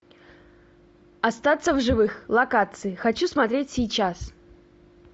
остаться в живых локации хочу смотреть сейчас